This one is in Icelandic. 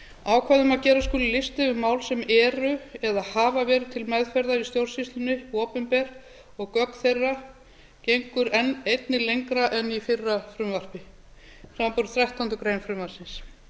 ákvæði um að gera skuli lista yfir mál sem eru eða hafa verið til meðferðar í stjórnsýslunni opinber og gögn þeirra gengur einnig enn lengra en í fyrra frumvarpi samanber þrettándu greinar frumvarpsins